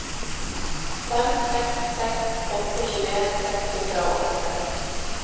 fem seks seks åtte tjueen seks hundre og åttiseks